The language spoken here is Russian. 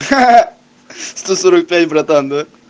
сто сорок пять братан да